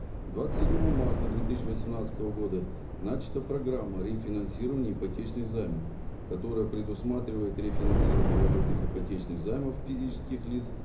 двадцать седьмого марта две тысяча восемьнадцатого года начата программа рефинансирования ипотечных займов которое предусматривает рефинансирование валютных ипотечных займов физических лиц